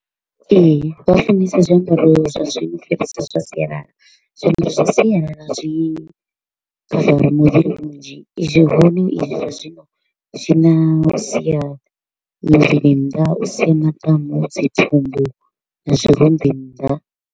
Ee, vha funesa zwiambaro zwa zwiṅwe zwa sialala, zwiambaro zwa sialala zwi khavara muvhili zwi hone izwi zwa zwino zwi na u sia muvhili nnḓa, u sia maḓamu, dzi thumbu na zwirumbi nnḓa.